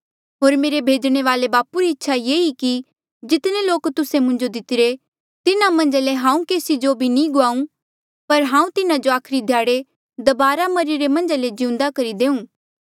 होर मेरे भेजणे वाले बापू री इच्छा ये ई कि जितने लोक तुस्से मुंजो दितरे तिन्हा मन्झा ले हांऊँ केसी जो भी नी गुआऊं पर हांऊँ तिन्हा जो आखरी ध्याड़े दबारा मरिरे मन्झा ले जिउंदे करी देऊँ